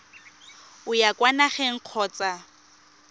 o ya kwa nageng kgotsa